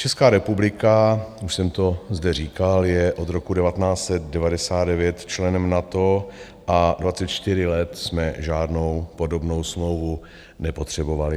Česká republika, už jsem to zde říkal, je od roku 1999 členem NATO a 24 let jsme žádnou podobnou smlouvu nepotřebovali.